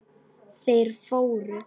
Þeir fóru.